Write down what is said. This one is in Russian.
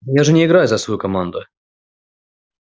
я же не играю за свою команду